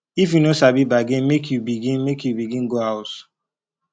if you no sabi bargain make you begin make you begin go house